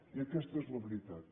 i aquesta és la veritat